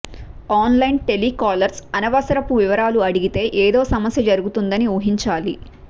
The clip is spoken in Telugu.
ఆన్లైన్ టెలికాలర్స్ అనవసరపు వివరాలు అడిగితే ఏదో సమస్య జరుగుతుందని ఊహించాలి